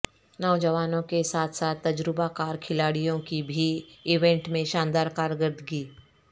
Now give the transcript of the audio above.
نوجوانوں کے ساتھ ساتھ تجربہ کار کھلاڑیوں کی بھی ایونٹ میں شاندار کارکردگی